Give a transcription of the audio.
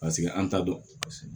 Paseke an t'a dɔn